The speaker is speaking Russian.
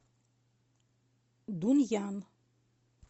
дунъян